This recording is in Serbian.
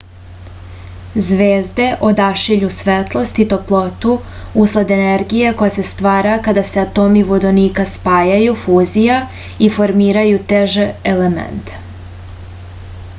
звезде одашиљу светлост и топлоту услед енергије која се ствара када се атоми водоника спајају фузија и формирају теже елементе